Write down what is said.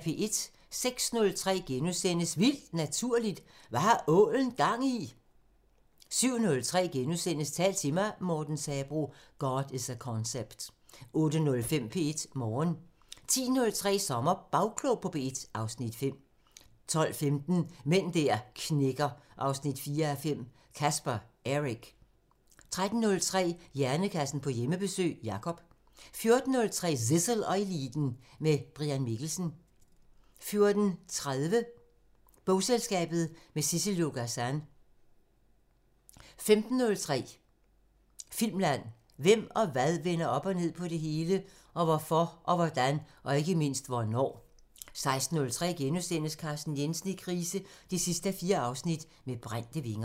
06:03: Vildt Naturligt: Hvad har ålen gang i?! * 07:03: Tal til mig – Morten Sabroe: "God is a concept" * 08:05: P1 Morgen 10:03: SommerBagklog på P1 (Afs. 5) 12:15: Mænd der knækker 4:5 – Caspar Eric 13:03: Hjernekassen på Hjemmebesøg – Jacob 14:03: Zissel og Eliten: Med Brian Mikkelsen 14:30: Bogselskabet – med Sissel-Jo Gazan 15:03: Filmland: Hvem og hvad vender op og ned på det hele? Og hvorfor og hvordan? Og ikke mindst hvornår? 16:03: Carsten Jensen i krise 4:4 – Med brændte vinger *